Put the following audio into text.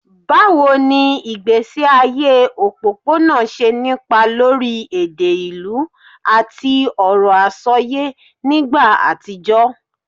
Báwo ni ìgbésí ayé òpópónà ṣe nípa lórí èdè ìlú àti ọ̀rọ̀ àsọyé nígbà àtijọ́?